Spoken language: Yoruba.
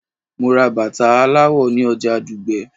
Mo ra bàtà aláwọ̀ ni oja Dugbe